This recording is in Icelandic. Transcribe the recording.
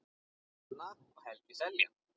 Hanna og Helgi Seljan.